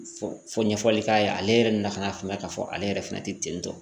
Fo ɲɛfɔli k'a ye ale yɛrɛ na ka na faamuya k'a fɔ ale yɛrɛ fɛnɛ te ten tɔ